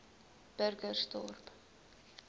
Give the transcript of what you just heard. burgersdorp